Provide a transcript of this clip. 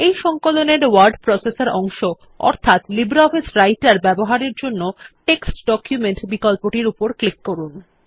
এই সংকলন এর ওয়ার্ড প্রসেসর অংশ অর্থাৎ লিব্রিঅফিস রাইটের ব্যবহারের জন্য টেক্সট ডকুমেন্ট বিকল্পটির উপর ক্লিক করুন